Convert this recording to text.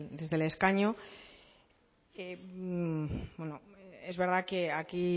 desde el escaño es verdad que aquí